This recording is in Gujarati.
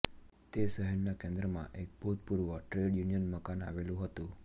તે શહેરના કેન્દ્રમાં એક ભૂતપૂર્વ ટ્રેડ યુનિયન મકાન આવેલું હતું